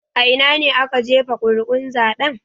A ina ne aka jefa ƙuri'un zaben?